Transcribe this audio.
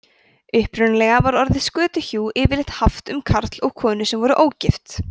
upprunalega var orðið skötuhjú yfirleitt haft um karl og konu sem voru ógift